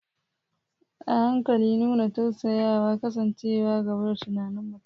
A haƙiƙa, nuna tausayawa, kasancewa gaba da tunanin mutum.